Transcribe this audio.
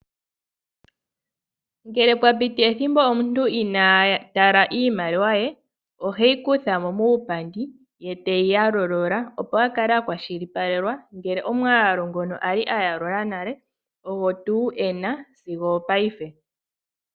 Ngele pwa piti ethimbo omuntu inaa tala iimaliwa ye, oheyi kutha mo muupandi, ye teyi yalulula, opo a kale a kwashilipaleka ngele omwaalu ngono a li a yalula nale ogo tuu e na sigo opaife.